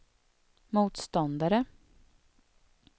motståndare